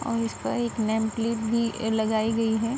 और इस पर एक नेमप्लेट भी लगाई गई है।